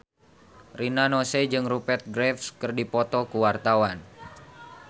Rina Nose jeung Rupert Graves keur dipoto ku wartawan